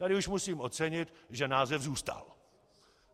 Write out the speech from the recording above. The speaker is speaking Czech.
Tady už musím ocenit, že název zůstal.